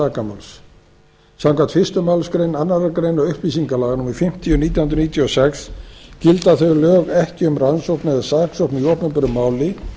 sakamáls samkvæmt fyrstu málsgrein annarrar greinar upplýsingalaga númer fimmtíu nítján hundruð níutíu og sex gilda þau lög ekki um rannsókn eða saksókn í opinberu máli